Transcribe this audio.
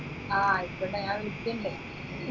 ആ ആയിക്കോട്ടെ ഞാൻ വിളിക്കുന്നുണ്ട്